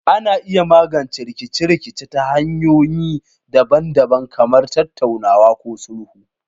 Ana iya magance rikice-rikice ta hanyoyi daban-daban kamar tattaunawa ko sulhu.